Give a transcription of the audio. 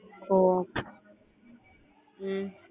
ஒஹ் உம்